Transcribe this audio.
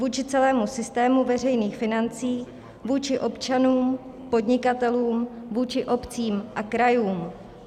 Vůči celému systému veřejných financí, vůči občanům, podnikatelům, vůči obcím a krajům.